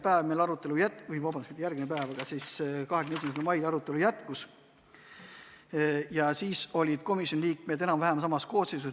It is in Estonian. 21. mail arutelu jätkus ja siis kogunes komisjon enam-vähem samas koosseisus.